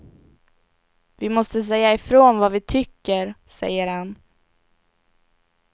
Vi måste säga ifrån vad vi tycker, säger han.